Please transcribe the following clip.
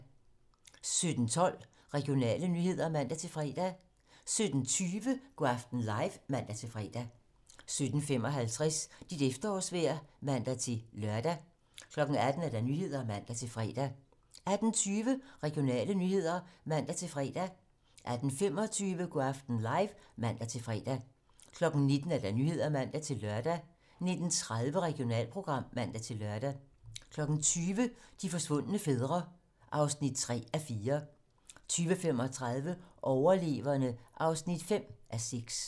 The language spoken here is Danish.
17:12: Regionale nyheder (man-fre) 17:20: Go' aften live (man-fre) 17:55: Dit efterårsvejr (man-lør) 18:00: Nyhederne (man-fre) 18:20: Regionale nyheder (man-fre) 18:25: Go' aften live (man-fre) 19:00: Nyhederne (man-lør) 19:30: Regionalprogram (man-lør) 20:00: De forsvundne fædre (3:4) 20:35: Overleverne (5:6)